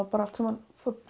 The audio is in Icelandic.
bara allt saman